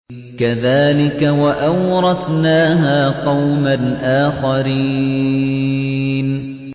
كَذَٰلِكَ ۖ وَأَوْرَثْنَاهَا قَوْمًا آخَرِينَ